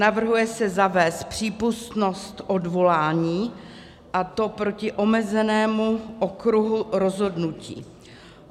Navrhuje se zavést přípustnost odvolání, a to proti omezenému okruhu rozhodnutí.